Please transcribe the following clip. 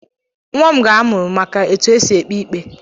Nwam ga-amụ maka etu e si ekpe ikpe